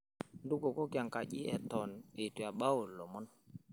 Ntukuokoki enkaji eteon eitu ebau ilomon.